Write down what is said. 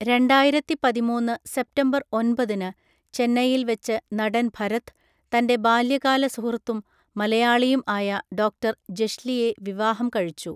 രണ്ടായിരത്തി പതിമൂന്ന്‌ സെപ്തംബർ ഒൻപതിന് ചെന്നൈയിൽ വെച്ച് നടൻ ഭരത്, തൻ്റെ ബാല്യകാല സുഹൃത്തും മലയാളിയും ആയ ഡോക്ടർ ജെഷ്ലിയെ വിവാഹം കഴിച്ചു.